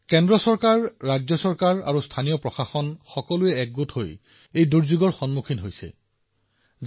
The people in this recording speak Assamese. কেন্দ্ৰ ৰাজ্য চৰকাৰ আৰু স্থানীয় প্ৰশাসন সকলোৱে এই দুৰ্যোগৰ সন্মুখীন হবলৈ একেলগে কাম কৰি আছে